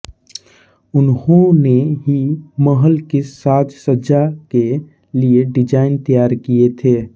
उन्होंने ही महल की साज सज्जा के लिए डिजाइन तैयार किये थे